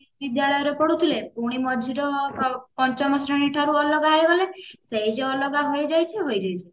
ବିଦ୍ୟାଳୟରେ ପଢୁଥିଲେ ପୁଣି ମଝିର ପଞ୍ଚମ ଶ୍ରେଣୀ ଠାରୁ ଅଲଗା ହେଇଗଲେ ସେଇ ଯୋଉ ଅଲଗା ହୋଇଯାଇଛେ ହୋଇଯାଇଛେ